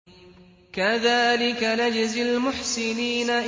كَذَٰلِكَ نَجْزِي الْمُحْسِنِينَ